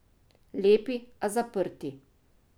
Lepi, a zaprti.